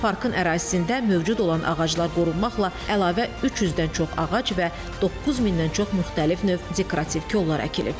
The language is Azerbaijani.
Parkın ərazisində mövcud olan ağaclar qorunmaqla əlavə 300-dən çox ağac və 9000-dən çox müxtəlif növ dekorativ kollar əkilib.